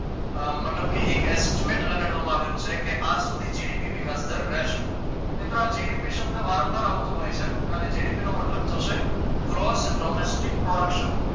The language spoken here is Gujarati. મતલબ કે એક એસ્ટીમેટ લગાડવામાં આવેલું છે કે આ સુધી જીડીપી વિકાસ દર રહેશે મિત્રો આ જીડીપી શબ્દ વારંમવાર આવતો હોય છે અને જીડીપી મતલબ થશે gross domestic production